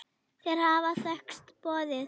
Þeir hafa þekkst boðið.